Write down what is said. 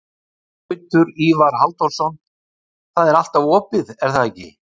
Gautur Ívar Halldórsson: Það er alltaf allt opið, er það ekki?